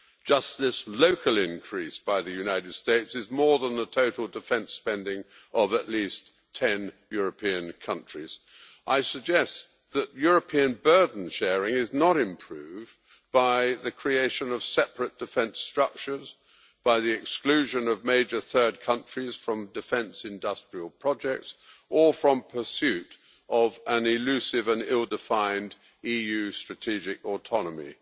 Just this local increase by the United States is more than the total defence spending of at least 10 European countries. I suggest that European burden sharing is not improved by the creation of separate defence structures, by the exclusion of major third countries from defence industrial projects or from pursuit of an elusive and ill-defined EU strategic autonomy.